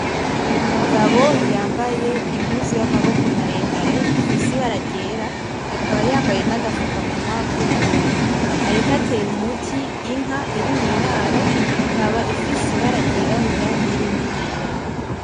Umugabo yambaye impuzu y'amaboko maremare ifise ibara ryera akaba yambaye nagafukamunwa k'ubururu, ariko atera umuti inka iri mw'iraro ikaba ifise ibara ryirabura n'irindi ryera.